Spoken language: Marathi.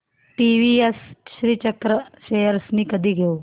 टीवीएस श्रीचक्र शेअर्स मी कधी घेऊ